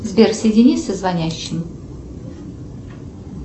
сбер соедини со звонящим